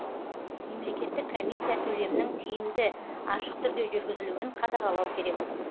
мемлекеттік комиссия төлемнің тиімді ашық түрде жүргізілуін қадағалау керек